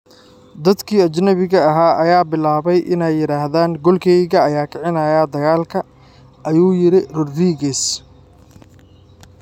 "Dadkii ajnabiga ahaa ayaa bilaabay inay yiraahdaan goolkeyga ayaa kicinaya dagaalka," ayuu yiri Rodríguez.